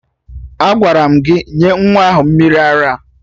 Agwara m gị nye nwa ahụ mmiri ara!